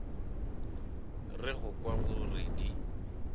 re go kwa gore di